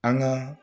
An ka